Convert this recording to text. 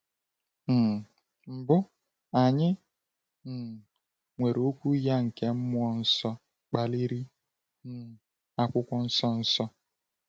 um Mbụ, anyị um nwere Okwu ya nke mmụọ nsọ kpaliri, um Akwụkwọ Nsọ Nsọ.